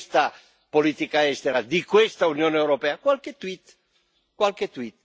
E qual è stata la risposta di questa politica estera, di questa Unione europea?